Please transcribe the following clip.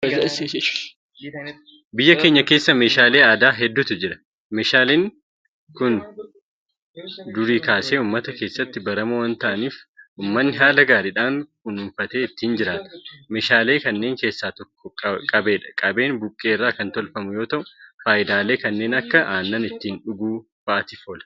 Biyya keenya keessa meeshaalee aadaa hedduutu jira. Meeshaaleen kun durii kaasee uummata keessatti baramoo waanta ta'aniif uummanni haala gaariidhaan kunuunfatee itti jiraata. Meeshaalee kanneen keessaa tokko Qabeedha. Qabeen Buqqee irraa kan hojjetamu yoota'u; Faayidaalee kanneen akka aannan ittiin dhuguu fa'aatiif oola.